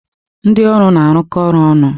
Ndị ọrụ na-arụkọ ọrụ ọnụ.